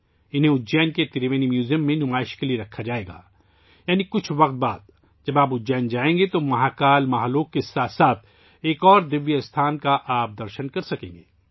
انہیں اُجّین کے تروینی میوزیم میں لگایا جائے گا یعنی کچھ وقت بعد، جب آپ اُجّین جائیں گے ، تو مہاکال مہا لوک کے ساتھ ساتھ ایک اور قابل دید مقام کا آپ دیدار کر سکیں گے